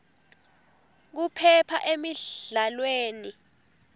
kuphepha emidlalweni